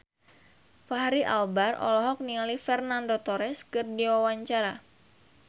Fachri Albar olohok ningali Fernando Torres keur diwawancara